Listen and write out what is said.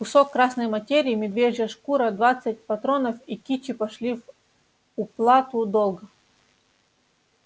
кусок красной материи медвежья шкура двадцать патронов и кичи пошли в уплату долга